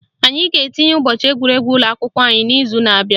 Anyị ga-etinye ụbọchị egwuregwu ụlọakwụkwọ anyị n'izu na abịa